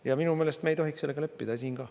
Ja minu meelest me ei tohiks sellega leppida siin ka.